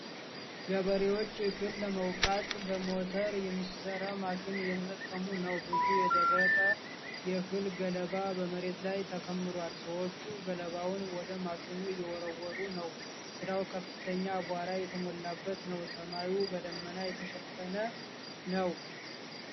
ገበሬዎች እህል ለመውቃት በሞተር የሚሠራ ማሽን እየተጠቀሙ ነው። ብዙ የደረቀ የእህል ገለባ በመሬት ላይ ተከምሯል። ሰዎቹ ገለባውን ወደ ማሽኑ እየወረወሩ ነው። ስራው ከፍተኛ አቧራ የተሞላበት ነው። ሰማዩ በደመና የተሸፈነ ነው።